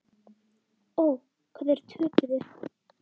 Ó, hvað þeir töpuðu.